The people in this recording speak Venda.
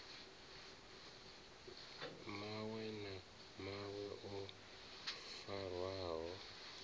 mawe na mawe o farwaho